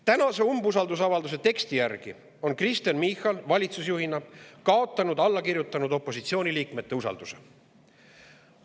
Tänase umbusaldusavalduse teksti järgi on Kristen Michal valitsusjuhina kaotanud allakirjutanud opositsiooniliikmete usalduse.